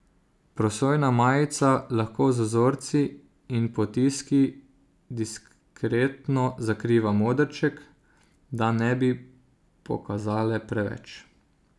Prosojna majica lahko z vzorci in potiski diskretno zakriva modrček, da ne bi pokazale preveč.